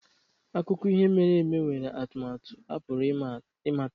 Akụkọ ihe mere eme nwere atụmatụ a pụrụ ịmata